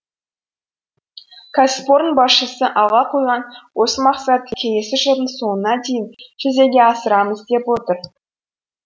кәсіпорын басшысы алға қойған осы мақсатты келесі жылдың соңына дейін жүзеге асырамыз деп отыр